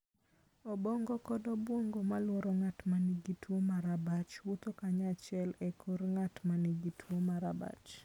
Obong'o kod obwong'o molworo ng'at ma nigi tuwo mar abach, wuotho kanyachiel e kor ng'at ma nigi tuwo mar abach.